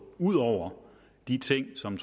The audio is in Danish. ud over de ting som